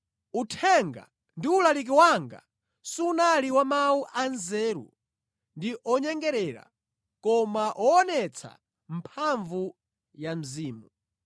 Uthenga ndi ulaliki wanga sunali wa mawu anzeru ndi onyengerera koma woonetsa mphamvu za Mzimu,